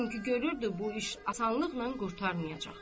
Çünki görürdü bu iş asanlıqla qurtarmayacaq.